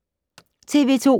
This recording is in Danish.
TV 2